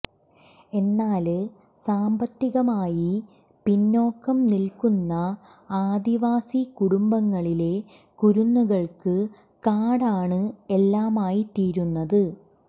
എന്നാല് സാമ്പത്തികമായി പിന്നോക്കം നില്ക്കുന്ന ആദിവാസി കുടുംബങ്ങളിലെ കുരുന്നുകള്ക്ക് കാടാണ് എല്ലാമായി തീരുന്നത്